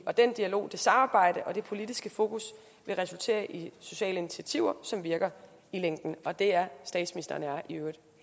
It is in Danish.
og den dialog det samarbejde og det politiske fokus vil resultere i sociale initiativer som virker i længden og det er statsministeren og jeg i øvrigt